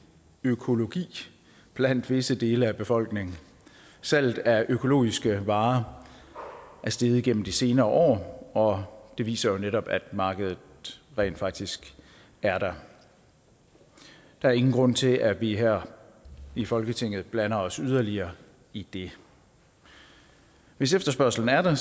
økologi blandt visse dele af befolkningen salget af økologiske varer er steget gennem de senere år og det viser jo netop at markedet rent faktisk er der der er ingen grund til at vi her i folketinget blander os yderligere i det hvis efterspørgslen er der